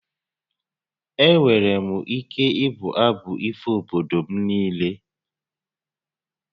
Enwere m ike ịbụ abụ ifo obodo m niile